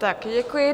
Také děkuji.